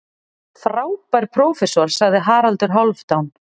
Frábær prófessor, sagði Haraldur Hálfdán.